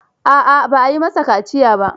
A'a ba a yi masa kaciya ba.